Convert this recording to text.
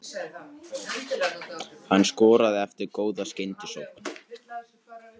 Hann skoraði eftir góða skyndisókn.